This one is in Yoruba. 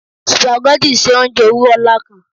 Spaghetti ṣe ounjẹ owurọ nla kan